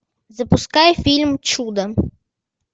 запускай фильм чудо